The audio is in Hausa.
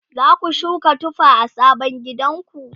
zaku shuka tufa a sabon gidanku?